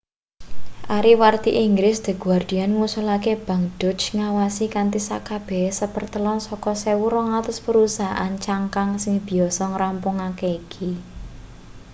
ariwarti inggris the guardian ngusulake bank deutsche ngawasi kanthi sekabehane sapertelon saka 1200 perusahaan cangkang sing biasa ngrampungake iki